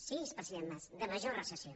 sí president mas de major recessió